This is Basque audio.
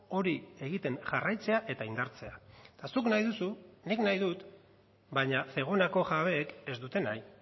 hori egiten jarraitzea eta indartzea eta zuk nahi duzu nik nahi dut baina zegonako jabeek ez dute nahi